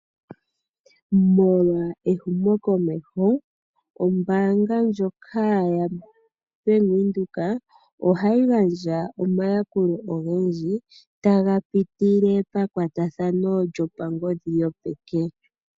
Molwa ehumokomeho, ombaanga ndjoka yaBank Windhoek ohayi gandja omayakulo ogendji taga pitile pamakwatathano gopangodhi gopeke.